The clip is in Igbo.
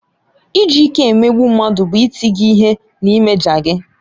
Iji ike emegbu mmadụ bụ ịti gị ihe na ịmaja gị.